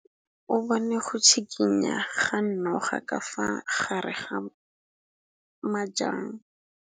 O bone go tshikinya ga noga ka fa gare ga majang.